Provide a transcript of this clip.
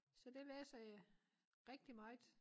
Så det læser jeg rigtig meget